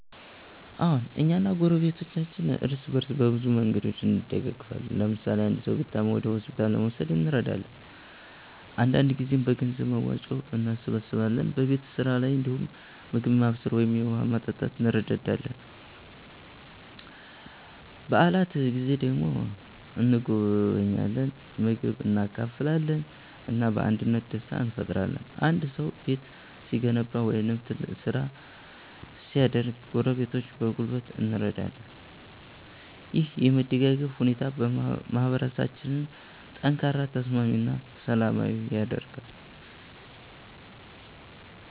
አዎን፣ እኛ እና ጎረቤቶቻችን እርስ በእርስ በብዙ መንገዶች እንደጋገፋለን። ለምሳሌ አንድ ሰው ሲታመም ወደ ሆስፒታል ለመውሰድ እንረዳለን፣ አንዳንድ ጊዜም በገንዘብ መዋጮ እንሰብስባለን። በቤት ስራ ላይ እንዲሁም ምግብ ማብሰል ወይም የውሃ ማመጣት እንረዳዳለን። በዓላት ጊዜ ደግሞ እንጎበኛለን፣ ምግብ እንካፈላለን እና በአንድነት ደስታ እንፈጥራለን። አንድ ሰው ቤት ሲገነባ ወይም ትልቅ ስራ ሲያደርግ ጎረቤቶች በጉልበት እንረዳለን። ይህ የመደጋገፍ ሁኔታ ማህበረሰባችንን ጠንካራ፣ ተስማሚ እና ሰላማዊ ያደርጋል።